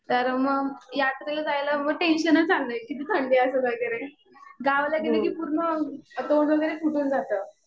तर मग यात्रेला जायला टेंशनच आलंय. किती थंडी असेल वगैरे. गावाला गेले कि पूर्ण तोंड वगैरे फुटून जातं.